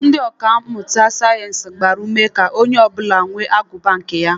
Ndị ọka mmụta sayeensị gbara ume ka onye ọbụla nwee agụba nke ya